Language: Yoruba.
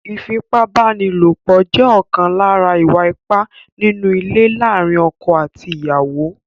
Ífipá-báni-lòpọ̀ jẹ́ ọ̀kan lára ìwà ipá nínú ilé láàárín ọkọ̀ àti ìyàwó.